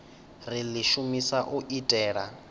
ri ḽi shumisa u itela